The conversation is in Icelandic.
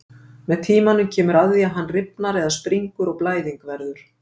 Með tímanum kemur að því að hann rifnar eða springur og blæðing verður.